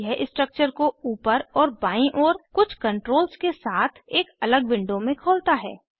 यह स्ट्रक्चर को ऊपर और बाईं ओर कुछ कंट्रोल्स के साथ एक अलग विंडो में खोलता है